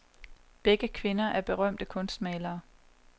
Begge kvinder er berømte kunstmalere.